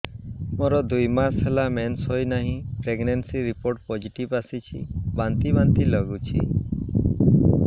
ମୋର ଦୁଇ ମାସ ହେଲା ମେନ୍ସେସ ହୋଇନାହିଁ ପ୍ରେଗନେନସି ରିପୋର୍ଟ ପୋସିଟିଭ ଆସିଛି ବାନ୍ତି ବାନ୍ତି ଲଗୁଛି